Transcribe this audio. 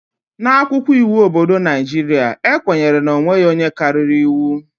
N'akwụkwọ iwu obodo Naijiria, e kwenyere na e nweghị onye karịrị iwu